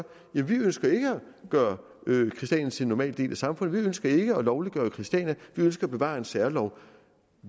være vi ønsker ikke at gøre christiania til en normal del af samfundet vi ønsker ikke at lovliggøre christiania vi ønsker at bevare en særlov